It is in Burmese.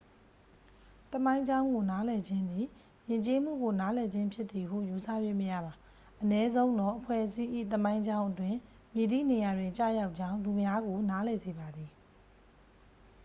သမိုင်းကြောင်းကို နားလည်ခြင်းသည် ယဉ်ကျေးမှုကိုနားလည်ခြင်းဖြစ်သည်ဟု ယူဆ၍မရပါ အနည်းဆုံးတော့ အဖွဲ့အစည်း၏ သမိုင်းကြောင်းအတွင်း မည်သည့် နေရာတွင် ကျရောက်ကြောင်း လူများကို နားလည် စေပါသည်